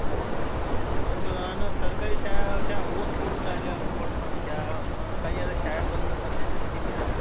पडद्यासमोर जाऊन नाचतात. ते करतात, इतका धिंगाणा मस्ती. तिथं नाई का पठाण movie छान movie आहे. आपण family सोबत पण बघू शकतात. आजूक मीपण गेलतं.